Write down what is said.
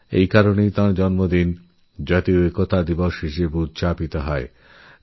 আর সেই কারণেই তাঁর জন্মদিনরাষ্ট্রীয় একতা দিবস হিসেবে পালন করা হবে